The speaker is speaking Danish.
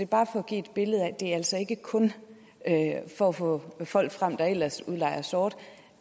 bare for at give et billede af at det altså ikke kun er for at få folk frem der ellers udlejer sort